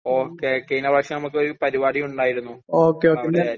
okay കഴിഞ്ഞ പ്രാവശ്യം നമുക്ക് ഒരു പരിപാടി ഉണ്ടായിരുന്നു